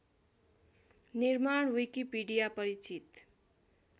निर्माण विकिपीडिया परिचित